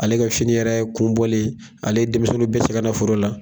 Ale ka fini yɛrɛ kun bɔlen ale ye denmisɛnninw bɛɛ cɛ ka na foro la.